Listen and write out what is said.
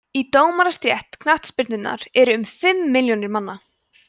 í dómarastétt knattspyrnunnar eru um fimm milljónir manna